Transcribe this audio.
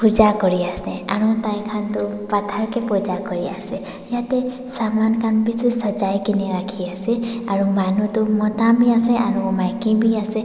Puja kuriase aro taikhan toh phator kae Puja kuriase yatae saman khan bishi sajai kaene ase aro manu tu mota bi ase aru maki bi ase.